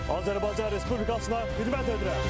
Azərbaycan Respublikasına xidmət edirəm.